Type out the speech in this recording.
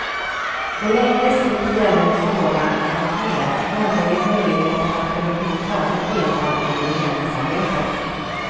På längre sikt gäller frågan något mer, nämligen möjligheterna att överhuvudtaget delta i regeringsarbetet.